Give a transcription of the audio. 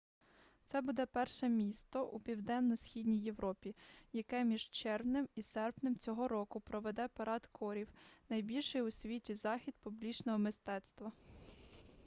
це буде перше місто у південно-східній європі яке між червнем і серпнем цього року проведе парад корів найбільший у світі захід публічного мистецтва